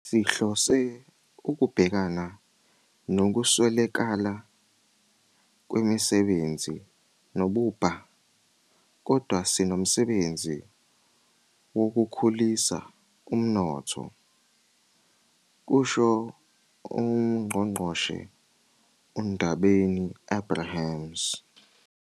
"Sihlose ukubhekana nokuswelakala kwemisebenzi nobubha, kodwa sinomsebenzi wokukhulisa umnotho," kusho uNgqongqoshe uNdabeni-Abrahams.